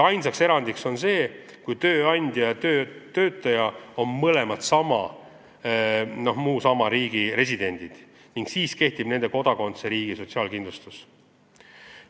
Ainus erand on see, kui tööandja ja töötaja on mõne muu sama riigi residendid, siis kehtib nende kodakondsusriigi sotsiaalkindlustus.